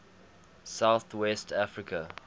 south west africa